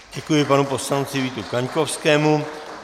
Děkuji panu poslanci Vítu Kaňkovskému.